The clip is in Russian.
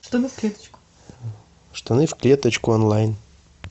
штаны в клеточку онлайн